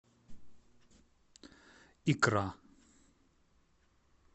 икра